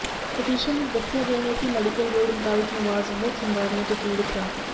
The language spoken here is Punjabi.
ਪਟੀਸ਼ਨ ਵਿਚ ਦੱਸਿਆ ਗਿਆ ਹੈ ਕਿ ਮੈਡੀਕਲ ਬੋਰਡ ਮੁਤਾਬਕ ਨਵਾਜ਼ ਬਹੁਤ ਬਿਮਾਰੀਆਂ ਤੋਂ ਪੀੜਤ ਹਨ